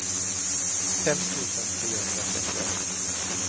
fem tusen trehundratrettioett